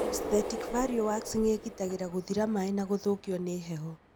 Aesthetic value waxing ĩgiragĩrĩria gũthira maĩ na gũthũkio nĩ heho